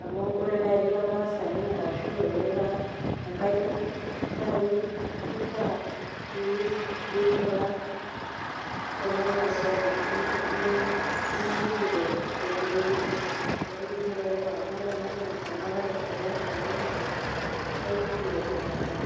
amu ore nai tenire ormaasani ashu tenira oljaluoi nai ifaa pinguraa kuna maswalini nijibu tenkutuk ni elewa amu ore nanu ena amu ara emaasani na kai jibu tekimaasai